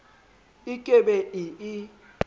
e ke be e e